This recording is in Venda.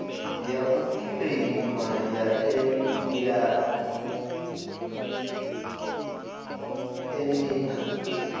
ya u kiḽeima ya emia